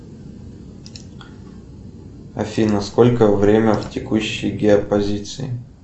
афина сколько время в текущей геопозиции